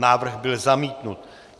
Návrh byl zamítnut.